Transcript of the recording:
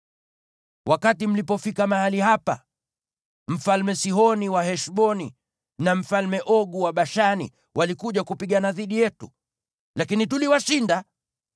Wakati mlipofika mahali hapa, Sihoni mfalme wa Heshboni na Ogu mfalme wa Bashani walikuja kupigana dhidi yetu, lakini tuliwashinda.